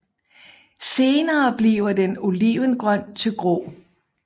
Senere bliver den olivengrøn til grå